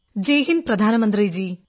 ജയ് ഹിന്ദ് പ്രധാനമന്ത്രി ജീ